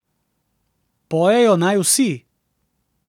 Pojejo naj vsi.